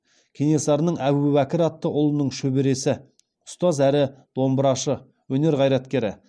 кенесарының әбубәкір атты ұлының шөбересі ұстаз әрі домбырашы өнер қайраткері